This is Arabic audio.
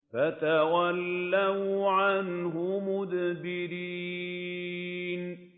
فَتَوَلَّوْا عَنْهُ مُدْبِرِينَ